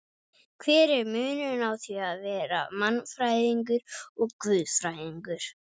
Hver er munurinn á því að vera mannfræðingur og guðfræðingur?